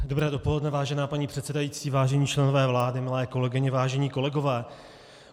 Dobré dopoledne, vážená paní předsedající, vážení členové vlády, milé kolegyně, vážení kolegové.